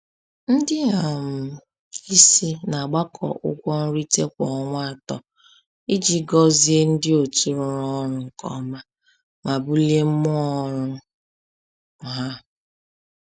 Ndị um isi na-agbakọ ụgwọ nrite kwa ọnwa atọ iji gọzie ndị otu rụrụ ọrụ nke ọma ma bulie mmụọ ọrụ ha.